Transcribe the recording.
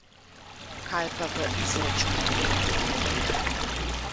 Kaj pa v izračunanih produktih?